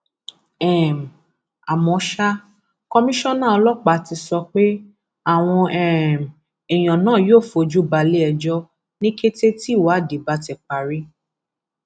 um àmọ ṣá kọmíṣánná ọlọpàá ti sọ pé àwọn um èèyàn náà yóò fojú balẹẹjọ ni kété tíwádìí bá ti parí